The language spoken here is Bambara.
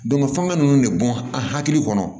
fanga nunnu de bɔn an hakili kɔnɔ